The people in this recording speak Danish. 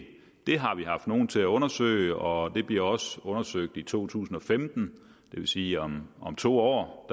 det har vi haft nogen til undersøge og det bliver også undersøgt i to tusind og femten det vil sige om to år